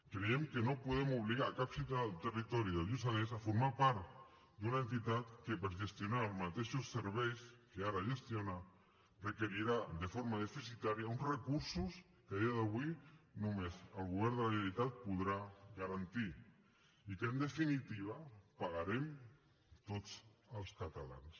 creiem que no podem obligar cap ciutadà del territori del lluçanès a formar part d’una entitat que per gestionar els mateixos serveis que ara gestiona requerirà de forma deficitària uns recursos que a dia d’avui només el govern de la generalitat podrà garantir i que en definitiva pagarem tots els catalans